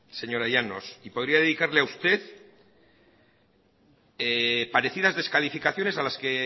señora llanos y podría dedicarle a usted parecidas descalificaciones